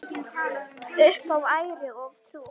Upp á æru og trú.